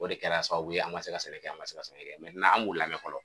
O de kɛra sababu ye an ma se ka sɛnɛ kɛ an ma se ka sɛnɛ kɛ an b'u lamɛn fɔlɔ